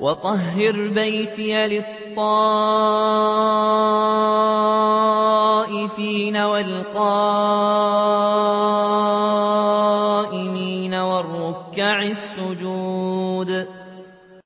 وَطَهِّرْ بَيْتِيَ لِلطَّائِفِينَ وَالْقَائِمِينَ وَالرُّكَّعِ السُّجُودِ